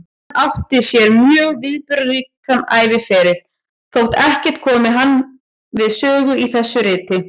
Hann átti sér mjög viðburðaríkan æviferil, þótt ekkert komi hann við sögu í þessu riti.